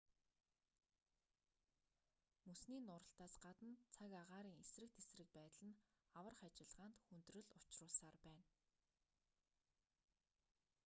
мөсний нуралтаас гадна цаг агаарын эсрэг тэсрэг байдал нь аврах ажиллагаанд хүндрэл учруулсаар байна